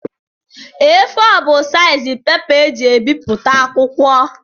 A4 bụ seizi pepa e ji ebiputa akwụkwọ